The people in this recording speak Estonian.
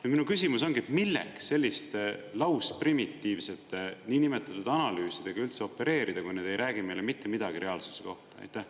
Ja minu küsimus ongi: milleks selliste lausprimitiivsete niinimetatud analüüsidega üldse opereerida, kui nad ei räägi meile mitte midagi reaalsuse kohta?